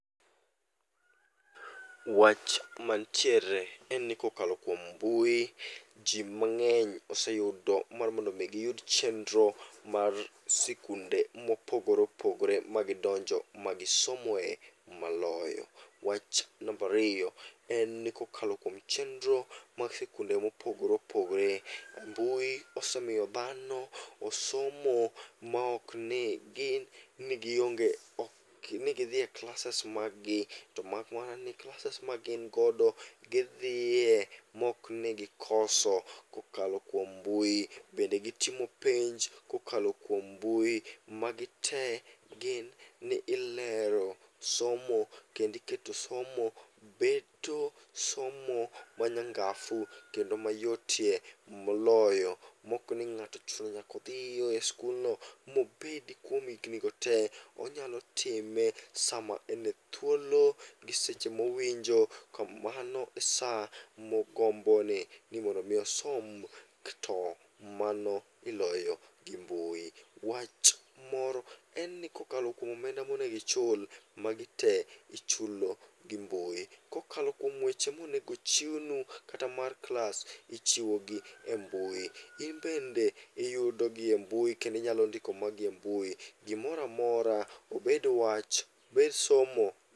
Wach mantiere en ni kokalo kuom mbui, ji mang'eny oseyudo mar mondo mi giyud chendro mar sikunde mopogore opogore magidonjo magisomoe maloyo. Wach nambariyo en ni kokalo kuom chendro mag sikunde mopogore opogore, mbui osemiyo dhano osomo maokni gin ni gionge ok ni gidhie klases mag gi. To mak mana ni klases ma gin godo gidhiye mok ni gikoso kokalo kuom mbui, bende gitomo penj kokalo kuom mbui. Magi te gin ni ilero somo kendi keto somo beto somo manyangafu kendo mayotee moloyo. Mokni ng'ato chuno ni nyakodhiyo e skulno mobedi kuom higni go te, onyalo time sama ene thuolo gi seche mowinjo ka mano e sa mogombo ni mondo mi osom to mano iloyo gi mbui. Wach moro en ni kokalo kuom omenda monegichul, magi te ichulo gi mbui. Kokalo kuom weche monegochiwnu kata mar klas, ichiwogi e mbui. In bende iyudogi e mbui kendinyalo ndiko magi e mbui. Gomoramora obed wach, obed somo.